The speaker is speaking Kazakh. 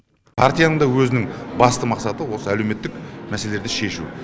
партияның да өзінің басты мақсаты осы әлеуметтік мәселелерді шешу